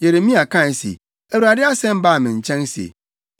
Yeremia kae se, “ Awurade asɛm baa me nkyɛn se,